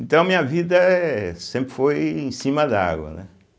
Então, minha vida eh sempre foi em cima d'água, né?